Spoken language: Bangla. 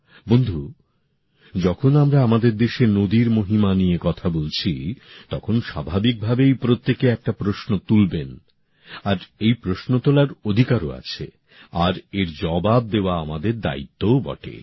বন্ধু যখন আমরা আমাদের দেশে নদীর মহিমা নিয়ে কথা বলছি তখন স্বাভাবিকভাবেই প্রত্যেকে একটা প্রশ্ন তুলবেন আর প্রশ্ন তোলার অধিকারও আছে আর এর জবাব দেওয়া আমাদের দায়িত্বও বটে